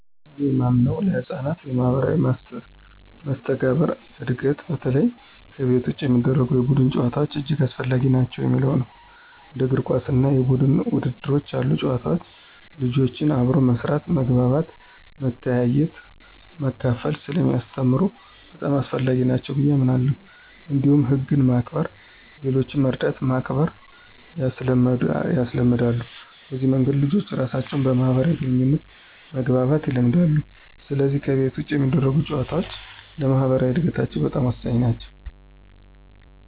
እኔ የማምነው ለሕፃናት የማኅበራዊ መስተጋብር እድገት በተለይ ከቤት ውጭ የሚደረጉ የቡድን ጨዋታዎች እጅግ አስፈላጊ ናቸው የሚለው ነው። እንደ እግር ኳስ እና የቡድን ውድድሮች ያሉ ጨዋታዎች ልጆችን አብሮ መስራት፣ መግባባት፣ መተያየትና መካፈል ስለሚያስተምሩ በጣም አስፈላጊ ናቸው ብየ አምናለሁ። እንዲሁም ህግን ማክበር፣ ሌሎችን መርዳትና ማክበር ያስለምዳሉ። በዚህ መንገድ ልጆች ራሳቸውን በማህበራዊ ግንኙነት መግባባት ይለምዳሉ፣ ስለዚህ ከቤት ውጭ የሚደረጉ ጨዋታዎች ለማኅበራዊ እድገታቸው በጣም ወሳኝ ናቸው።